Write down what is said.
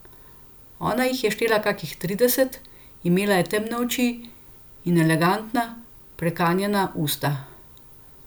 Ona jih je štela kakih trideset, imela je temne oči in elegantna, prekanjena usta.